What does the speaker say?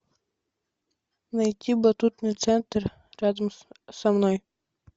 найти батутный центр рядом со мной